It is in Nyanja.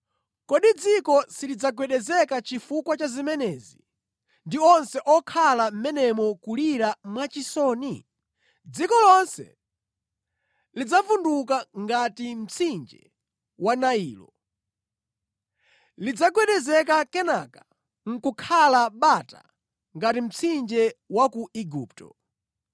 “Kodi dziko silidzagwedezeka chifukwa cha zimenezi, ndi onse okhala mʼmenemo kulira mwachisoni? Dziko lonse lidzavunduka ngati mtsinje wa Nailo; lidzagwedezeka kenaka nʼkukhala bata ngati mtsinje wa ku Igupto.